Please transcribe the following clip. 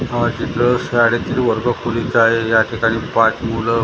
हा चित्र शाळेतील वर्गखोलीचा आहे ज्या ठिकाणी पाच मुलं--